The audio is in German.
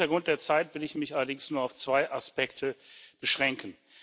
Vor dem Hintergrund der Zeit will ich mich allerdings nur auf zwei Aspekte beschränken.